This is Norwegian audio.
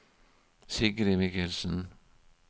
Sigrid Mikkelsen